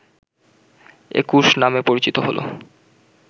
একুশ নামে পরিচিত হলো